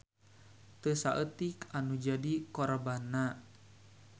Teu saeutik anu jadi korbanna.